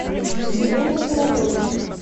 елена королева